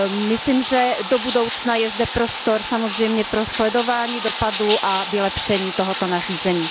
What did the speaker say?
Myslím, že do budoucna je zde prostor samozřejmě pro sledování dopadu a vylepšení tohoto nařízení.